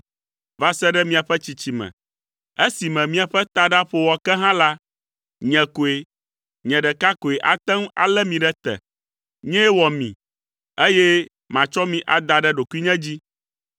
va se ɖe miaƒe tsitsime esime miaƒe taɖa ƒo wɔ ke hã la, nye koe, nye ɖeka koe ate ŋu alé mi ɖe te. Nyee wɔ mi, eye matsɔ mi ada ɖe ɖokuinye dzi.